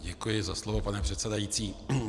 Děkuji za slovo, pane předsedající.